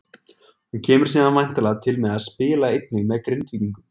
Hann kemur síðan væntanlega til með að spila einnig með Grindvíkingum.